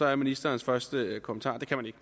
er ministerens første kommentar det kan man ikke